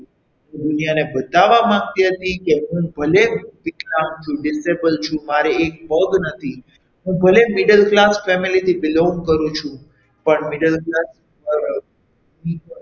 દુનિયાને બતાવવા માંગતી હતી કે હું ભલે વિકલાંગ છું મારે એક પગ નથી હું ભલે middle class family થી belong કરું છું પણ middle class વાળા,